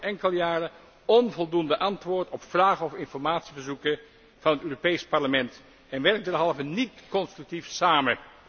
De Raad geeft al enkele jaren onvoldoende antwoord op vragen of informatieverzoeken van het Europees Parlement en werkt derhalve niet constructief samen.